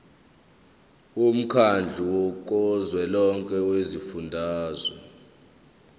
womkhandlu kazwelonke wezifundazwe